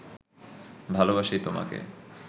ভালবাসি তোমাকে